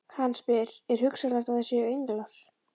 Hann spyr: er hugsanlegt að þær séu englar?